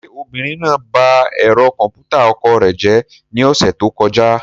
Ṣé obìnrin náà ba ẹ̀rọ kọ̀m̀pútà ọkọ rẹ̀ jẹ́ ní ọ̀sẹ̀ tó kọjá?